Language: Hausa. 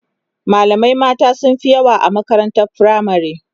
malamai mata sunfi yawa a makarantar firamare